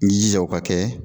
N'i jija o ka kɛ